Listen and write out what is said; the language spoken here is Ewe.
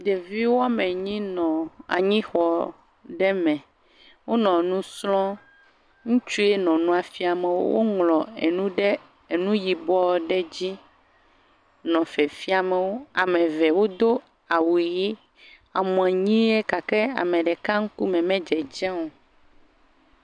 Ɖevi woame nyi nɔ anyixɔ ɖe me. Wonɔ nu srɔ̃ɔ. Ŋutsue nɔ nua fiam wo. Woŋlɔ enu ɖe nu yibɔ aɖe dzi nɔ fiafiamwo. Ame ve wodo awu ʋi amoanyiɛ gake ame ɖeka ŋkume me dzedze o